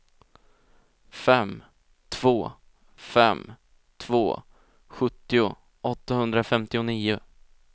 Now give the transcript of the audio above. fem två fem två sjuttio åttahundrafemtionio